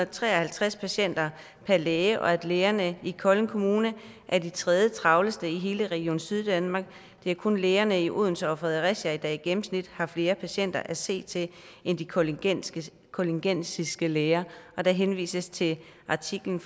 tre og halvtreds patienter per læge og at lægerne i kolding kommune er de tredjetravleste i hele region syddanmark det er kun lægerne i odense og fredericia der i gennemsnit har flere patienter at se til end de koldingensiske koldingensiske læger der henvises til artiklen